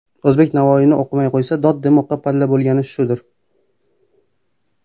O‘zbek Navoiyni o‘qimay qo‘ysa, Dod demoqqa palla bo‘lgani shudir.